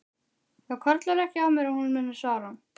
Það hvarflar ekki að mér að hún muni svara.